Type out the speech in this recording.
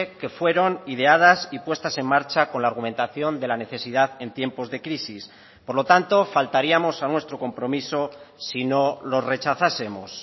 que fueron ideadas y puestas en marcha con la argumentación de la necesidad en tiempos de crisis por lo tanto faltaríamos a nuestro compromiso si no los rechazásemos